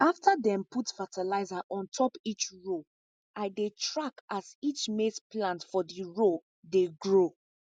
after dem put fertilizer on top each row i dey track as each maize plant for di row dey grow